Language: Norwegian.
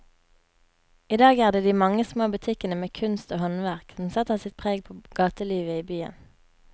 I dag er det de mange små butikkene med kunst og håndverk som setter sitt preg på gatelivet i byen.